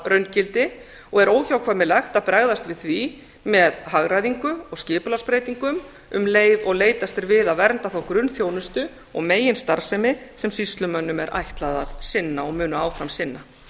raungildi og er óhjákvæmilegt að bregðast við því með hagræðingu og skipulagsbreytingum um leið og leitast er við að vernda þá grunnþjónustu og meginstarfsemi sem sýslumönnum er ætlað að sinna og munu áfram sinna